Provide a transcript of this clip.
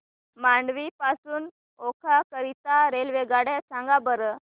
मांडवी पासून ओखा करीता रेल्वेगाड्या सांगा बरं